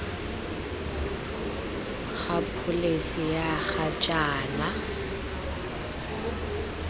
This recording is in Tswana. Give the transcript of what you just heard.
ga pholesi ya ga jaana